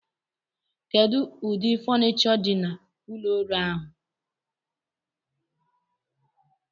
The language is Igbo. Kedu ụdị fonicho dị na ụlọ ọrụ ahụ?